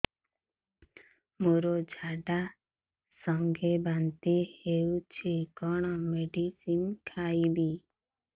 ମୋର ଝାଡା ସଂଗେ ବାନ୍ତି ହଉଚି କଣ ମେଡିସିନ ଖାଇବି